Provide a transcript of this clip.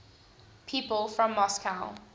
people from moscow